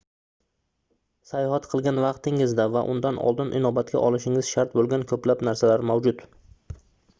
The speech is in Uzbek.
sayohat qilgan vaqtingizda va undan oldin inobatga olishingiz shart boʻlgan koʻplab narsalar mavjud